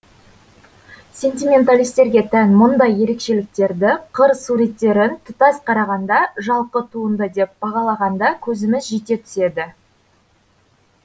сентименталистерге тән мұндай ерекшеліктерді қыр суреттерін тұтас қарағанда жалқы туынды деп бағалағанда көзіміз жете түседі